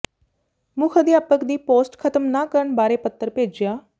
ਮੁੱਖ ਅਧਿਆਪਕ ਦੀ ਪੋਸਟ ਖ਼ਤਮ ਨਾ ਕਰਨ ਬਾਰੇ ਪੱਤਰ ਭੇਜਿਆ